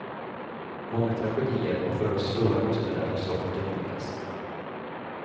Många tragedier och för oss stora kostnader har så kunnat undvikas.